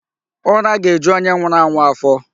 Ura ga-eju onye nwụrụ anwụ afọ.